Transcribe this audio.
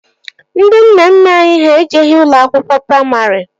Ndị nna nna anyị ha ejeghi ụlọ akwụkwọ praimarị